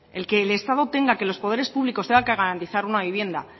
el que el estado tenga que los poderes públicos tengan que garantizar una vivienda